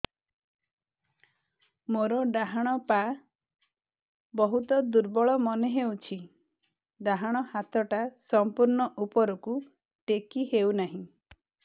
ମୋର ଡାହାଣ ପାଖ ବହୁତ ଦୁର୍ବଳ ମନେ ହେଉଛି ଡାହାଣ ହାତଟା ସମ୍ପୂର୍ଣ ଉପରକୁ ଟେକି ହେଉନାହିଁ